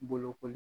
Bolokoli